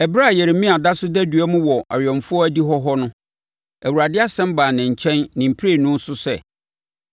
Ɛberɛ a, Yeremia da so da dua mu wɔ awɛmfoɔ adihɔ hɔ no, Awurade asɛm baa ne nkyɛn ne mprenu so sɛ: